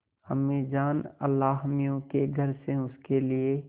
अम्मीजान अल्लाहमियाँ के घर से उसके लिए